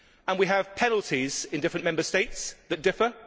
We have penalties in different Member States that differ.